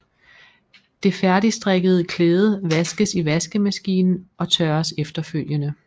Det færdigstrikkede klæde vaskes i vaskemaskinen og tørres efterfølgende